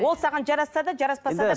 ол саған жарасса да жараспаса да